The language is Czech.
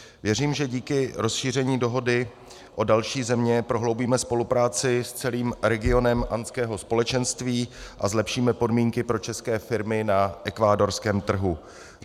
Věřím, že díky rozšíření dohody o další země prohloubíme spolupráci s celým regionem andského společenství a zlepšíme podmínky pro české firmy na ekvádorském trhu.